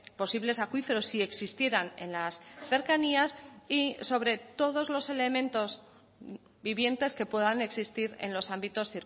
posibles acuíferos si existieran en las cercanías y sobre todos los elementos vivientes que puedan existir en los ámbitos